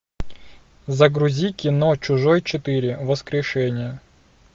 загрузи кино чужой четыре воскрешение